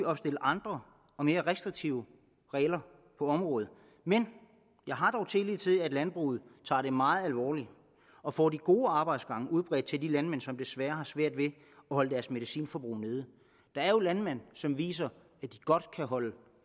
opstille andre og mere restriktive regler på området men jeg har dog tillid til at landbruget tager det meget alvorligt og får de gode arbejdsgange udbredt til de landmænd som desværre har svært ved at holde medicinforbruget nede der er jo landmænd som viser at de godt kan holde